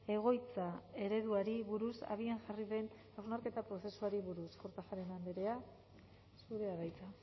egoitza ereduari buruz abian jarri den hausnarketa prozesuari buruz kortajarena andrea zurea da hitza